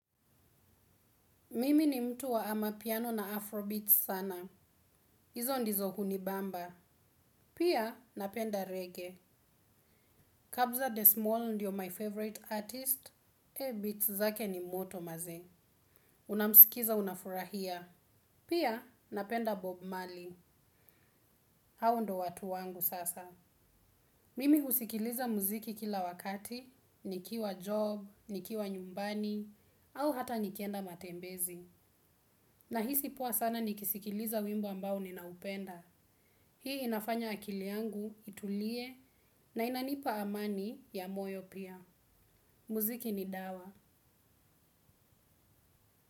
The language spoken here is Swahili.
Mimi ni mtu wa ama piano na afro beats sana. Izo ndizo kunibamba. Pia napenda reggae. Kabza The Small ndio my favorite artist, eh beats zake ni moto maze. Unamsikiza unafurahia. Pia napenda Bob Mali. Hao ndo watu wangu sasa. Mimi husikiliza muziki kila wakati, nikiwa job, nikiwa nyumbani, au hata nikienda matembezi. Nahisi poa sana nikisikiliza wimbo ambao ninaupenda. Hii inafanya akili yangu itulie na inanipa amani ya moyo pia. Muziki ni dawa.